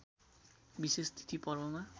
विशेष तिथि पर्वमा